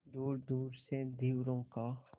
दूरदूर से धीवरों का